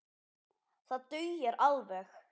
Það dugir alveg.